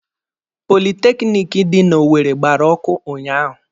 Politekiniki dị n'Owere gbara ọkụ ụnyaahụ.